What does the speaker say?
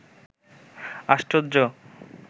আশ্চর্য